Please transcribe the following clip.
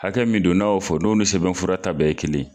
Hakɛ min don n'a y'o fɔ n'o ni sɛbɛnfura ta bɛɛ ye kelen ye.